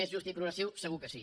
més just i progressiu segur que sí